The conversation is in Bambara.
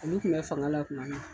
Olu tun bɛ fanga la tuma min